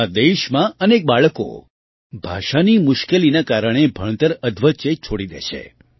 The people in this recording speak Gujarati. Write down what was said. આપણા દેશમાં અનેક બાળકો ભાષાની મુશ્કેલીના કારણે ભણતર અધવચ્ચે જ છોડી દે છે